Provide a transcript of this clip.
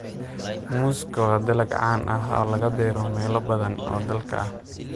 Muuska waa dalag caan ah oo laga beero meelo badan oo dalka ah.